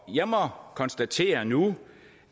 jeg må konstatere nu